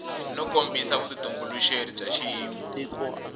no kombisa vutitumbuluxeri bya xiyimo